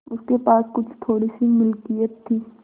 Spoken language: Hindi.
उसके पास कुछ थोड़ीसी मिलकियत थी